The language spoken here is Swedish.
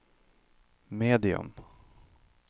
medium